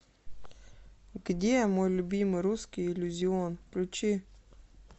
где мой любимый русский иллюзион включи